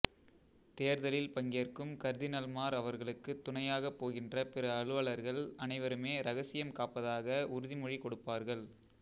தேர்தலில் பங்கேற்கும் கர்தினால்மார் அவர்களுக்குத் துணையாகப் போகின்ற பிற அலுவலர்கள் அனைவருமே இரகசியம் காப்பதாக உறுதிமொழி கொடுப்பார்கள்